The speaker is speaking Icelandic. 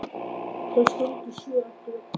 Þau skyldu sjá eftir öllu saman.